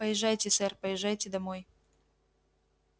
поезжайте сэр поезжайте домой